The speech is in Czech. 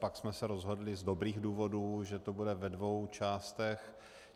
Pak jsme se rozhodli z dobrých důvodů, že to bude ve dvou částech.